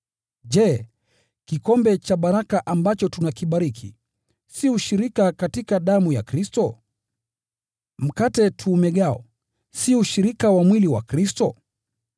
Je, kikombe cha baraka ambacho tunakibariki, si ushirika katika damu ya Kristo? Mkate tuumegao, si ushirika wa mwili wa Kristo?